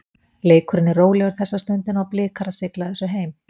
Leikurinn er rólegur þessa stundina og Blikar að sigla þessu heim.